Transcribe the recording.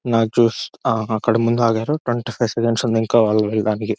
ఆ అక్కడ ముందు ఆగారు ట్వంటీ ఫైవ్ సెకెన్స్ ఇంకా వాళ్ళు వెళ్ళడానికి--